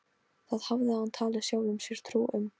Það hafði hann talið sjálfum sér trú um.